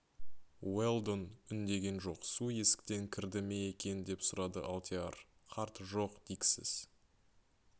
уэлдон үндеген жоқ су есіктен кірді ме екен деп сұрады алдияр қарт жоқ дик сіз